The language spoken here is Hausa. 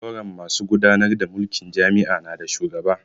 Zauren masu gudanar da mulkin jami'a na da shugaba